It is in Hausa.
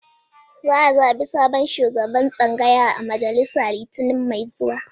Za a zaɓi sabon shugaban tsangaya a majalisa Litinin mai zuwa